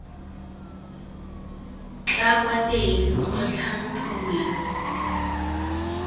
tla kwa teng motlhang pula